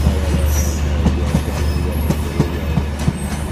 Ọ karịala afọ asaa ugbu a kemgbe India malitere ịrịa ọrịa.